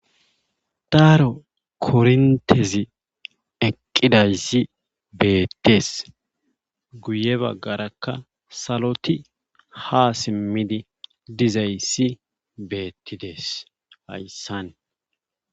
daaro korintezi eqqida beettees guye baggarakka saloti ha simmidi dizayssi beettidees hayssan